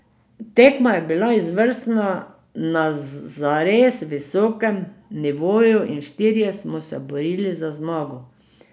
Tekma je bil izvrstna, na zares visokem nivoju in štirje smo se borili za zmago.